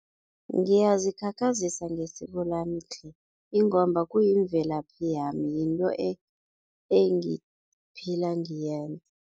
Ngiyazikhakhazisa ngesiko lami tle ingomba kuyimvelaphi yami, yinto engiphila